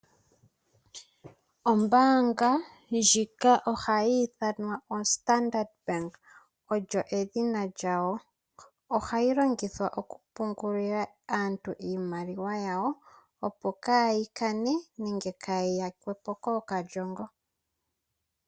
Ombaanga ndjika ohayi ithanwa oStandard Bank, olyo edhina lyayo. Ohayi longithwa okupungulila aantu iimaliwa yawo opo kaayi kane nenge kaayi yakwepo kookalyongo.